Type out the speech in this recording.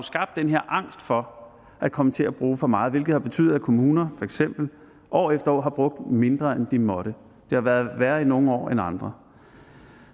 skabt den her angst for at komme til at bruge for meget hvilket har betydet at kommuner for eksempel år efter år har brugt mindre end de måtte det har været værre i nogle år end i andre